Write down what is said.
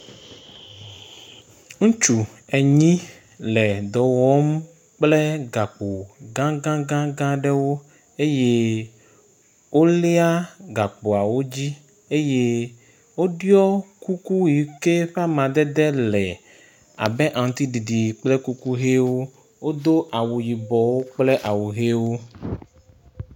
Ŋutsu enyi le dɔ wɔm kple gako gagagã ɖewo eye wolia gakpoawo dzi eye woɖiɔ kuku yi ke ƒe amadede le abe aŋtiɖiɖi kple kuku ʋiwo. Wodo awu yibɔ kple awu ʋiwo.